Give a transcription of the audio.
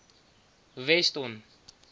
weston